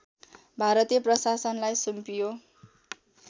भारतीय प्रशासनलाई सुम्पियो